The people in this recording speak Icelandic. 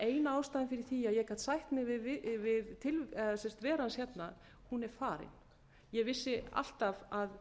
eina ástæðan fyrir því að ég gat sætt mig við veru hans hérna er farin ég vissi alltaf að